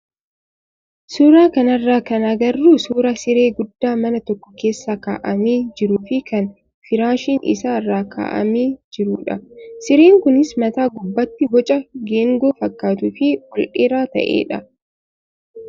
Suuraa kanarraa kan agarru suuraa siree guddaa mana tokko keessa kaa'amee jiruu fi kan firaashiin isaa irra kaa'amee jirudha. Sireen kunis mataa gubbaatti boca geengoo fakkaatuu fi ol dheeraa ta'edha.